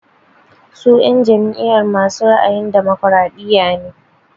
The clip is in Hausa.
Su en jam'iyar masu ra'ayin damokaraɗiya ne.